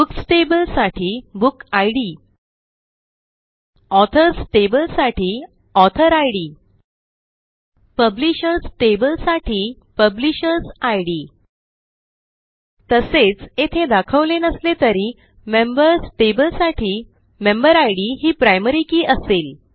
books tableसाठी book ID authors tableसाठी author ID publishers table साठी पब्लिशर्सिड तसेच येथे दाखवले नसले तरी मेंबर्स टेबल साठी मेंबेरिड ही प्रायमरी के असेल